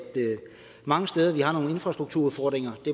der mange steder er nogle infrastrukturudfordringer det